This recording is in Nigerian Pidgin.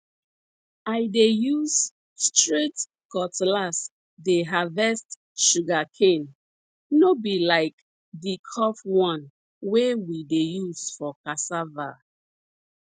i dey use straight cutlass dey harvest sugar cane no be like di curve one wey we dey use for cassava